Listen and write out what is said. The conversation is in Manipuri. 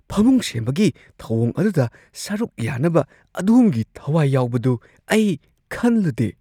ꯐꯝꯃꯨꯡ ꯁꯦꯝꯕꯒꯤ ꯊꯧꯑꯣꯡ ꯑꯗꯨꯗ ꯁꯔꯨꯛ ꯌꯥꯅꯕ ꯑꯗꯣꯝꯒꯤ ꯊꯋꯥꯏ ꯌꯥꯎꯕꯗꯨ ꯑꯩ ꯈꯟꯂꯨꯗꯦ ꯫